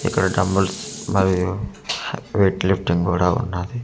ఇక్కడ డంబుల్స్ మరియు weight lifting కూడా ఉన్నది .]